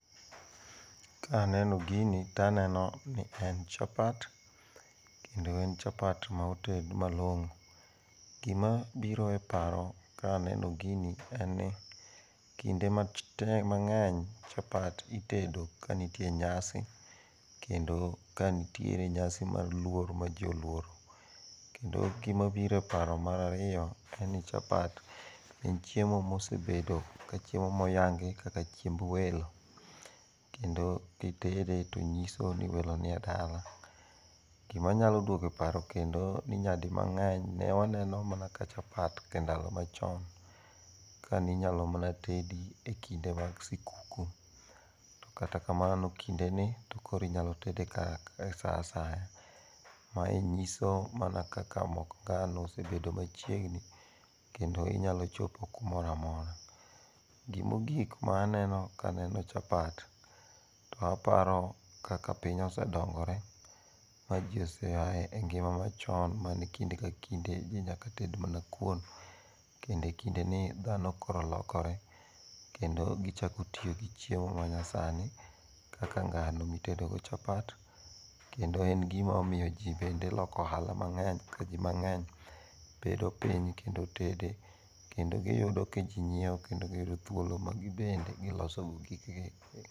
Kaneno gini taneno ni en chapat, kendo en chapat moted malong'o. Gimabiro e paro kaneno gini en ni kinde mang'eny chapat itedo ka nitie nyasi kendo kanitiere nyasi mar luoro ma ji oluoro kendo gima biro e paro mar ariyo en ni chapat en chiemo mosebedo kaka chiemo moyangi kaka chiemb welo, kendo kitede to nyiso ni welo nie dala. Gimanyalo nyalo duogo e paro kendo ni nyadimang'eny ne waneno mana ka chapat e ndalo machon kaninyalo mana tedi e kinde mag sikuku to kata kamano, kindeni to koro inyalo tedo kaka sa asaya. Mae nyiso mana kaka sani mok ngano osebedo machiegni, kendo inyalo chopo kumoro amora. Gimogik maneno kaneno chapat taparo kaka piny osedongore ma ji oseaye ngima machon ma ne kinde ka kinde ji nyaka ted mna kuon kendo kindeni dhano koro olokore kendo gichako tiyo gi chiemo manyasani, kaka ngano mitedogo chapat kendo en gimamiyo ji bende loko ohala mang'eny ka ji mang'eny bedo piny kendo tede kendo giyudo ka ji nyieo kendo giyudo thuolo magibende gilosogo gikgi.